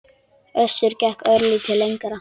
Össur gekk örlítið lengra.